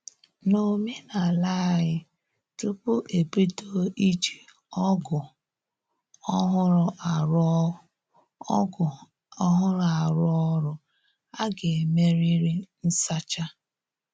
N'omenala anyị, tupu e bido iji ọgụ ọhụrụ arụ ọgụ ọhụrụ arụ ọrụ, a ga-emerịrị nsacha